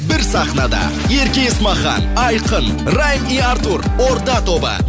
бір сахнада ерке есмахан айқын райм и артур орда тобы